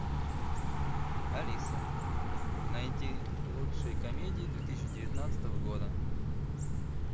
алиса найди лучшие комедии две тысячи девятнадцатого года